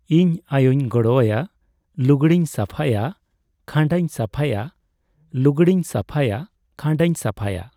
ᱤᱧ ᱟᱭᱳᱧ ᱜᱚᱲᱚ ᱟᱭᱟ᱾ ᱞᱩᱜᱽᱰᱤ ᱤᱧ ᱥᱟᱯᱷᱟᱭᱟ, ᱠᱷᱟᱱᱰᱟᱧ ᱥᱟᱯᱷᱭᱟ, ᱞᱩᱜᱽᱲᱤ ᱤᱧ ᱥᱟᱯᱷᱟᱭᱟ ᱠᱷᱟᱱᱰᱟᱧ ᱥᱟᱯᱷᱭᱟ,